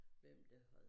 Hvem der havde